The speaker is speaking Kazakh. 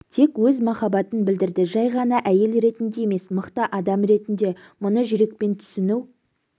тек өз махабатын білдірді жай ғана әйел ретінде емес мықты адам ретінде мұны жүрекпен түсіну